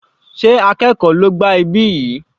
Sé àwọn akẹ́kọ̀ọ́ ló gbá ibí yìí?